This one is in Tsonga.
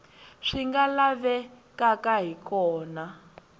swi nga lavekaka hi kona